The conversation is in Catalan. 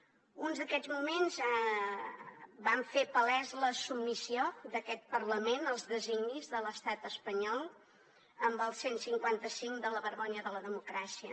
en un d’aquests moments vam fer palesa la submissió d’aquest parlament als designis de l’estat espanyol amb el cent i cinquanta cinc de la vergonya de la democràcia